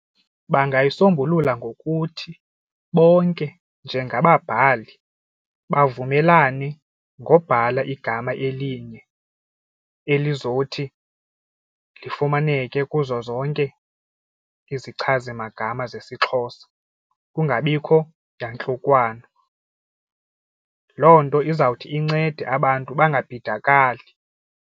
Bangayisombulula ngokuthi bonke njengababhali bavumelane ngobhala igama elinye elizothi lifumaneke kuzo zonke izichazimagama zesXhosa kungabikho yantlukwano. Loo nto izawuthi incede abantu bangabhidakali.